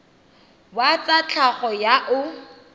wa tsa tlhago yo o